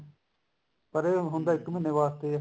ਪਰ ਹੁੰਦਾ ਇੱਕ ਮਹੀਨੇ ਵਾਸਤੇ ਐ